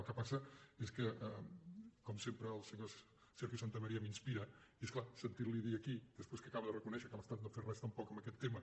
el que passa és que com sempre el senyor sergio santamaría m’inspira i és clar sentir·li dir aquí des·prés que acaba de reconèixer que l’estat no ha fet res tampoc en aquest tema